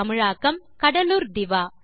தமிழாக்கம் கடலூர் திவா